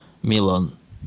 милан